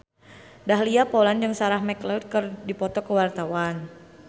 Dahlia Poland jeung Sarah McLeod keur dipoto ku wartawan